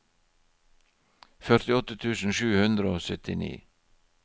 førtiåtte tusen sju hundre og syttini